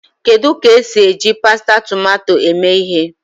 Kedu ka esi eji pasta tomato eme ihe?